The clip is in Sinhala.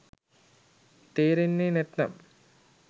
තේරෙන්නේ නැත්නම්